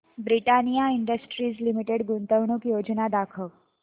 Britannia Industries Limited गुंतवणूक योजना दाखव